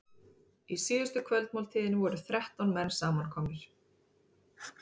Í síðustu kvöldmáltíðinni voru þrettán menn samankomnir.